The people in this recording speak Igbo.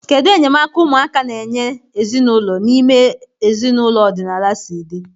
Kedu enyemaka ụmụaka na-enye ezinụlọ n'ime ezinaụlọ ọdịnala si dị?